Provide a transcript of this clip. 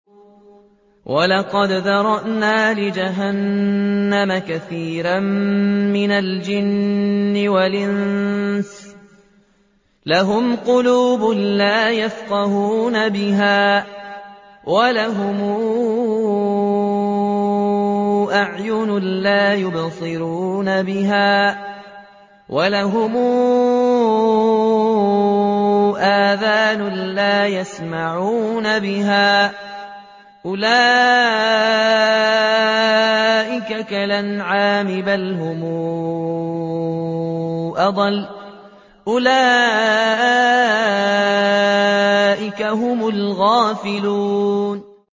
وَلَقَدْ ذَرَأْنَا لِجَهَنَّمَ كَثِيرًا مِّنَ الْجِنِّ وَالْإِنسِ ۖ لَهُمْ قُلُوبٌ لَّا يَفْقَهُونَ بِهَا وَلَهُمْ أَعْيُنٌ لَّا يُبْصِرُونَ بِهَا وَلَهُمْ آذَانٌ لَّا يَسْمَعُونَ بِهَا ۚ أُولَٰئِكَ كَالْأَنْعَامِ بَلْ هُمْ أَضَلُّ ۚ أُولَٰئِكَ هُمُ الْغَافِلُونَ